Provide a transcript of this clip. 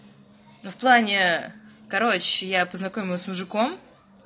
в плане короче я познакомилась с мужиком